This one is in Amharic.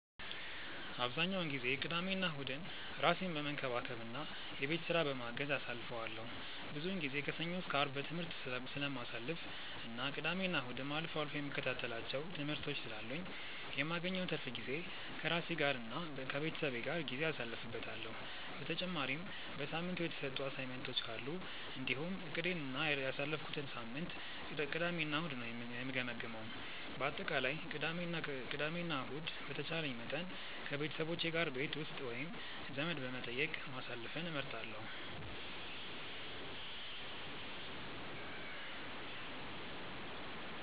አብዛኛውን ጊዜ ቅዳሜና እሁድን ራሴን በመንከባከብ እና የቤት ስራ በማገዝ አሳልፈዋለሁ። ብዙውን ጊዜ ከሰኞ እስከ አርብ በትምህርት ስለማሳልፍ እና ቅዳሜና እሁድም አልፎ አልፎ የምከታተላቸው ትምህርቶች ስላሉኝ የማገኘውን ትርፍ ጊዜ ከራሴ ጋር እና ከቤተሰቤ ጋር ጊዜ አሳልፍበታለሁ። በተጨማሪም በሳምንቱ የተሰጡ አሳይመንቶች ካሉ እንዲሁም እቅዴን እና ያሳለፍኩትን ሳምንት ቅዳሜ እና እሁድ ነው የምገመግመው። በአጠቃላይ ቅዳሜ እና ከእሁድ በተቻለኝ መጠን ከቤተሰቦቼ ጋር ቤት ውስጥ ወይም ዘመድ በመጠየቅ ማሳለፍን እመርጣለሁ።